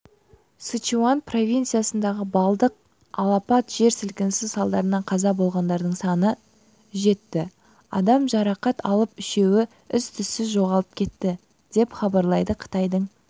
сычуань провинциясындағы балдық алапат жер сілкінісі салдарынан қаза болғандардың саны жетті адам жарақат алып үшеуі із-түссіз жоғалып кетті деп хабарлайды қытайдың